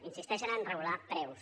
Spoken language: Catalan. insisteixen en regular preus